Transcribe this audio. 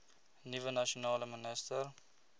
nuwe nasionale minister